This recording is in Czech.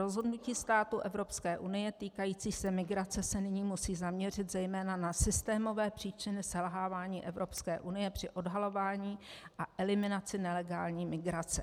Rozhodnutí států Evropské unie týkající se migrace se nyní musí zaměřit zejména na systémové příčiny selhávání Evropské unie při odhalování a eliminaci nelegální migrace.